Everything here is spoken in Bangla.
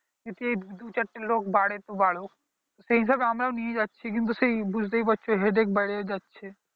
যদি দুচারটে লোক বাড়ে তো বাড়ুক সেই হিসাবে আমরাও নিয়ে যাচ্ছি কিন্তু সেই বুঝতেই পারছো headache বেড়ে যাচ্ছে